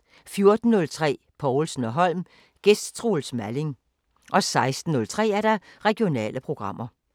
14:03: Povlsen & Holm: Gæst Troels Malling 16:03: Regionale programmer